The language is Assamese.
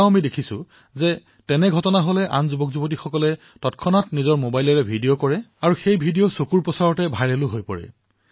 আৰু আমি এনে ঘটনাও দেখা পাইছো যে আন এজন তৰুণে তৎকালীনভাৱে নিজৰ মবাইল ফোন উলিয়াই তাৰে ভিডিঅ প্ৰস্তুত কৰে আৰু চাওতে চাওতে সেই ভিডিঅ ভাইৰেল হৈ পৰে